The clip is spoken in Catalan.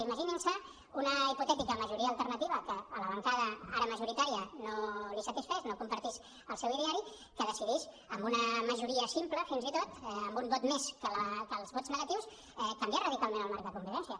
imaginin se una hipotètica majoria alternativa que a la bancada ara majoritària no li satisfés no compartís el seu ideari que decidís amb una majoria simple fins i tot amb un vot més que els vots negatius canviar radicalment el marc de convivència